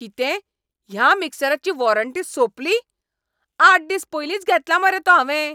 कितें? ह्या मिक्सराची वॉरंटी सोंपली? आठ दीस पयलींच घेतला मरे तो हांवें!